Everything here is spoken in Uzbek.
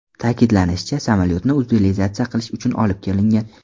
Ta’kidlanishicha, samolyotni utilizatsiya qilish uchun olib kelingan.